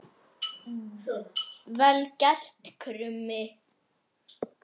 Vel gert, Krummi!